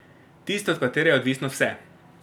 Tista, od katere je odvisno vse.